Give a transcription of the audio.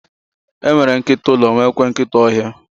E nwere nkịta ụlọ, nwekwaa nkịta ọhịa.